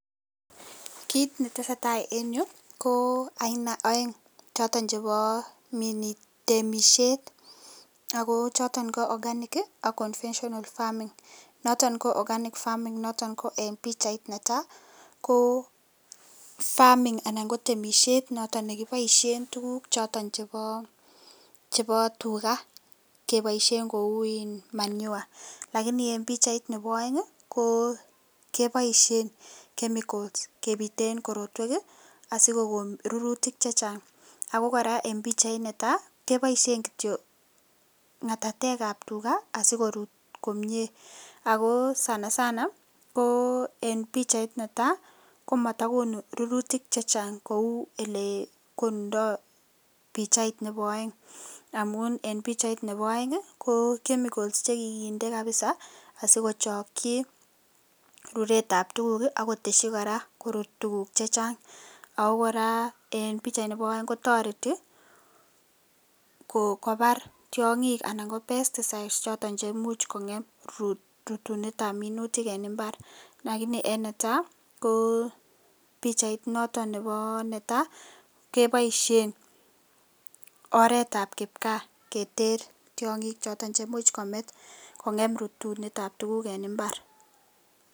Kit netesetai en yu ko Aina aeng choton ko chebo Minet ab temishet ako choton ko organic AK conventional farming noton ko organic farming noton ko en bichait Neta ko farming anan ko temishet noton nekibaishen tguk choton chebo tuga kebaishen Kou manure lakini en bichait Nebo aeng kokebaishen chemicals kebiten korotwek asikokon rururtik chechang akokoraa en bichaini netaa kebaishen kityo ngatatek ab tuga asikorut komie ako sanasana ko en bichait Neta Komatagonu rururtik chechang Kou elekonundo bichait Nebo aeng amun en bichait Nebo aeng ko chemicals chekikindee kabisa asikochaki ruret ab tuguk akoteshi koraa kurur tuguk chechang ako koraa en bichait Nebo aeng kotareti kobar tiongik ana ko pesticides choton cheimuch kongem rutune ab minutik en imbar lakini en netaa ko bichait noton Nebo netai kebaishen oret ab kipkaa Keter tiongik choton cheimuch komit kokem rutunet ab tuguk en imbar